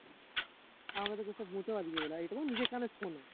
আমাদেরটা case আর এটাতো নিজের কানে শোনা